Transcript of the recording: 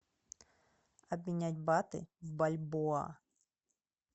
обменять баты в бальбоа